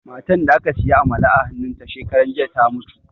Matan da ka siya amala a hannun ta shekaran jiya ta mutu